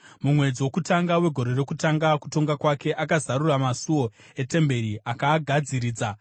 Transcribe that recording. Mumwedzi wokutanga wegore rokutanga kutonga kwake akazarura masuo etemberi akaagadziridza.